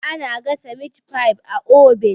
ana gasa mit fi a obin